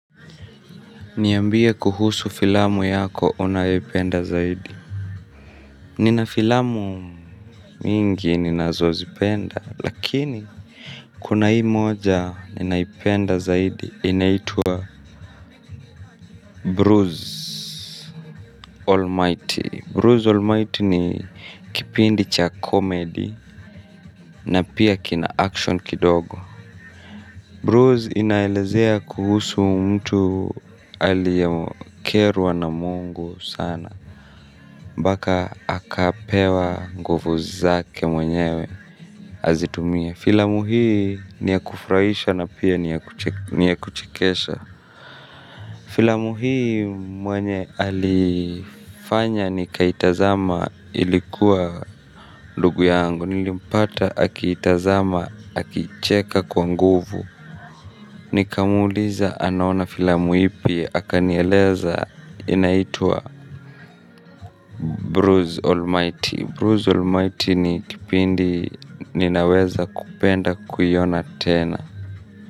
Niambie kuhusu filamu yako unayoipenda zaidi. Nina filamu mingi ninazozipenda lakini kuna hii moja ninaipenda zaidi inaitwa bruce almighty bruce almighty ni kipindi cha comedy. Na pia kina action kidogo Bruce inaelezea kuhusu mtu aliyekerwa na Mungu sana mpaka akapewa nguvu zake mwenyewe azitumie filamu hii ni ya kufurahisha na pia ni ya kuchekesha. Filamu hii mwenye alifanya nikaitazama ilikuwa ndugu yangu. Nilimpata akiitazama akicheka kwa nguvu. Nikamuuliza anaona filamu ipi akanieleza. Inaitwa Bruce Almighty, Bruce Almighty ni kipindi ninaweza kupenda kuiona tena.